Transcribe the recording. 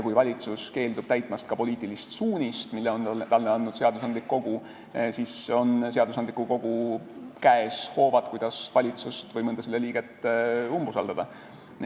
Kui valitsus keeldub täitmast poliitilist suunist, mille on talle andnud seadusandlik kogu, siis on seadusandliku kogu käes hoovad, kuidas valitsust või mõnda selle liiget umbusaldada.